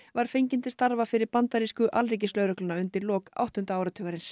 var fengin til starfa fyrir bandarísku alríkislögregluna undir lok áttunda áratugsins